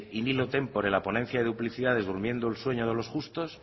in illo tempore la ponencia de duplicidades durmiendo el sueño de los justos